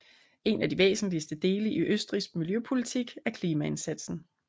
En af de væsentligste dele i Østrigs miljøpolitik er klimaindsatsen